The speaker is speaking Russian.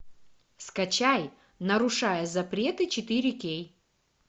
скачай нарушая запреты четыре кей